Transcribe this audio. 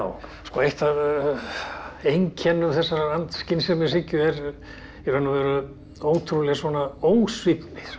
eitt af einkennum þessarar andskynsemishyggju er í raun og veru ótrúleg ósvífni